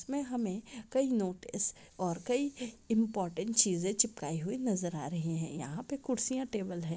इसमे हमें कई नोटिस और कई इम्पॉर्टन्ट चीजें चिपकाई हुई नजर आ रही हैं यहाँ पे कुर्सियाँ टेबल हैं।